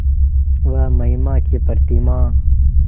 वह महिमा की प्रतिमा